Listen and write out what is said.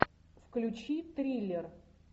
включи триллер